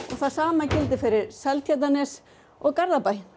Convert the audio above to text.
það sama gildir fyrir Seltjarnarnes og Garðabæ